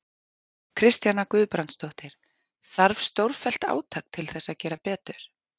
Kristjana Guðbrandsdóttir: Þarf stórfellt átak til þess að gera betur?